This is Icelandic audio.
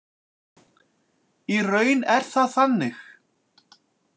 Í raun er það þannig.